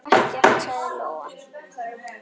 Ekkert, sagði Lóa.